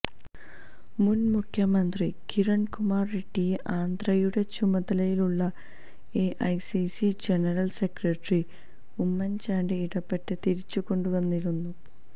മുന് മുഖ്യമന്ത്രി കിരണ് കുമാര് റെഡ്ഡിയെ ആന്ധ്രയുടെ ചുമതലയുള്ള AICC general secretary Oommen Chandy ഇടപെട്ട് തിരിച്ചുകൊണ്ടുവന്നിരുന്നു